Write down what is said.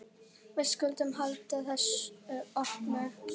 Við skulum halda þessu opnu.